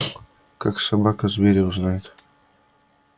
как собака зверя узнает